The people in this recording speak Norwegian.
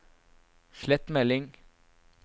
slett melding